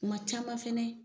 Kuma caman fana